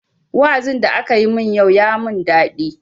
Wa'azin da akayi yau ya mun daɗi.